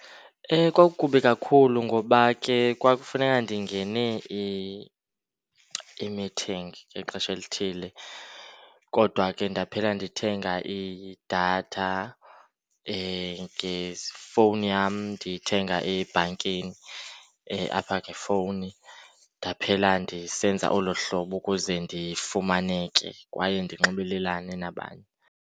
Kwakukubi kakhulu ngoba ke kwakufuneka ndingene i-meeting ngexesha elithile kodwa ke ndaphela ndithenga idatha ngefowuni yam, ndiyithenga ebhankini apha ngefowuni. Ndaphela ndisenza olo hlobo ukuze ndifumaneke kwaye ndinxibelelane nabanye.